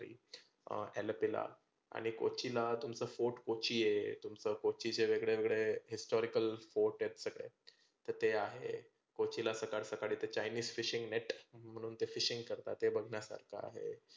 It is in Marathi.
अं अलोपेला आणि कोचीला तुमचं fort कोची आहे. तुमचं कोचीचे वेगळे वेगळे historical fort आहे सगळे. तर ते आहे. कोचीला सकाळी सकाळी ते chinese fishing net म्हणून ते fishing करतात, ते बघण्यासारखं आहे.